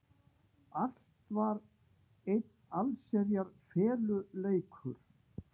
Allt var einn allsherjar feluleikur.